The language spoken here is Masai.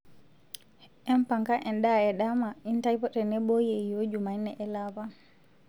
empanga endaa e dama intae tenebo yieyioo jumanne ele apa